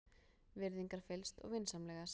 Virðingarfyllst og vinsamlegast.